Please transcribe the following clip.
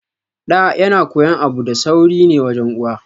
Ɗa yana koyon abu da sauri ne wajen uwa